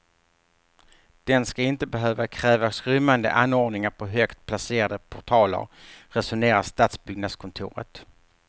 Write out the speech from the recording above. Den ska inte behöva kräva skrymmande anordningar på högt placerade portaler, resonerar stadsbyggnadskontoret.